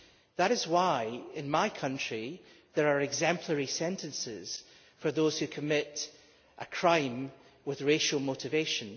That is why, in my country, there are exemplary sentences for those who commit a crime with racial motivation.